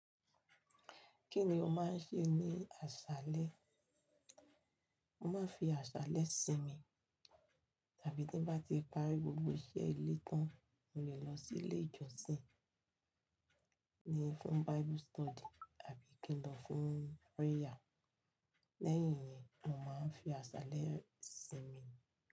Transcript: Kí ni o máa ń ṣe ní àṣálẹ́? Mo máa ń fi àṣálẹ́ sinmi. Tàbí tí bá ti parí gbogbo iṣẹ́ ilé tán, mo lè lọ sí ilé ìjọsìn. Ni fún Bible study àbí kí n lọ fún prayer. Lẹ́yìn yẹn, mo máa ń fi àṣálẹ́ sinmi.